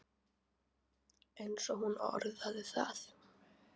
eins og hún orðaði það.